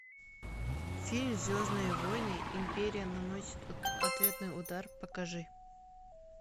фильм звездные войны империя наносит ответный удар покажи